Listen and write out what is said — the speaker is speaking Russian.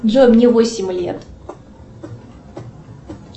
джой мне восемь лет